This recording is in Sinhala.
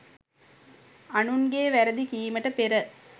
අනුන්ගේ වැරදි කීමට පෙර